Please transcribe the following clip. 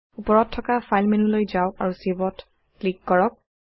উপৰত থকা ফাইল মেন্যুলৈ যাওক আৰু Save ত ক্লিক কৰক